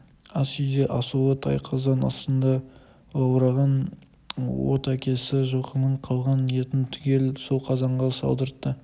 ас үйде асулы тай қазан астында лаулаған от әкесі жылқының қалған етін түгел сол қазанға салдыртты